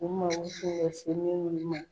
U mako tun bɛ Siriki ni